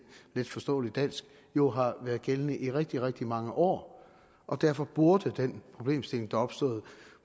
letforståeligt dansk jo har været gældende i rigtig rigtig mange år og derfor burde den problemstilling der opstod